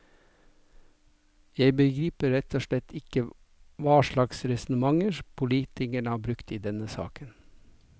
Jeg begriper rett og slett ikke hva slags resonnementer politikerne har brukt i denne saken.